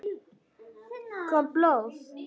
Kom blóð?